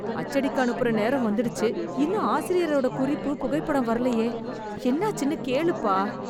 அச்சடிக்க அனுப்புற நேரம் வந்துடுச்சு... இன்னும் ஆசிரியரோட குறிப்பு, புகைப்படம் வரலயே... என்னாச்சின்னு கேளுப்பா.